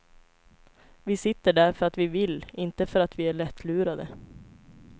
Vi sitter där för att vi vill, inte för att vi är lättlurade.